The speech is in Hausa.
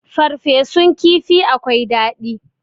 farfesun kifi akwai dadi